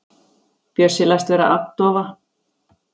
Bjössi læst vera agndofa.